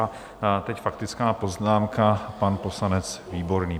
A teď faktická poznámka, pan poslanec Výborný.